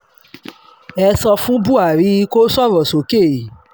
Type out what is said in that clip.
ẹ sọ fún buhari kó sọ̀rọ̀ sókè